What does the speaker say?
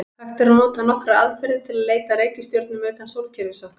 Hægt er að nota nokkrar aðferðir til að leita að reikistjörnum utan sólkerfis okkar.